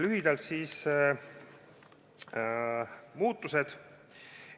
Lühidalt muudatustest.